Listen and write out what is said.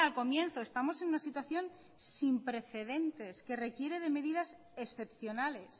comienzo estamos en una situación sin precedentes que requiere de medidas excepcionales